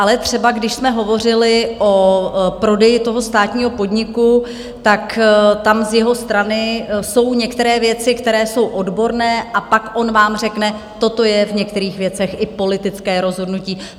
Ale třeba když jsme hovořili o prodeji toho státního podniku, tak tam z jeho strany jsou některé věci, které jsou odborné, a pak on vám řekne: toto je v některých věcech i politické rozhodnutí.